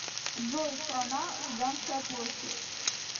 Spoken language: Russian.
джой страна лубянская площадь